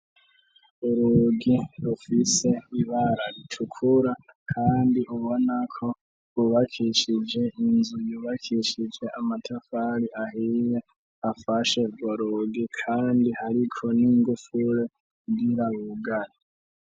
Urugi rufise ibara ritukura, kandi ubona ko bubakishije inzu yubakishije amatafali ahiye afashe gorugi, kandi hariko n'ingufure ngirabugani.